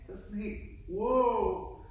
Det var sådan helt wow